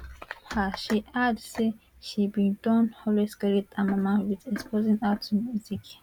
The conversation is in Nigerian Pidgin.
um she add say she bin don always credit her mama wit exposing her to music